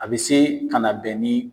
A bɛ se ka na bɛn ni